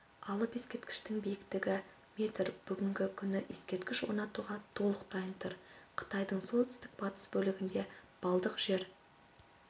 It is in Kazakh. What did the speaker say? алып ескерткіштің биіктігі метр бүгінгі күні ескерткіш орнатуға толық дайын тұр қытайдың солтүстік-батыс бөлігінде балдық жер